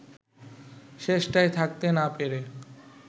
শেষটায় থাকতে না পেরে